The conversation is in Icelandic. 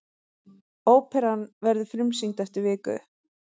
Óperan verður frumsýnd eftir viku.